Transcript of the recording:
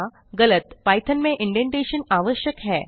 गलत पाइथॉन में इंडेंटेशन आवश्यक है